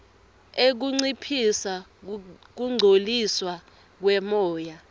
ekunciphisa kungcoliswa kwemoya